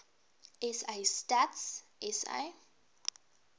sa stats sa